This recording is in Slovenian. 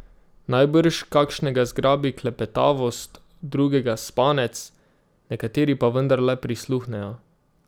Najbrž kakšnega zgrabi klepetavost, drugega spanec, nekateri pa vendarle prisluhnejo.